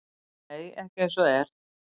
Nei, ekki eins og er.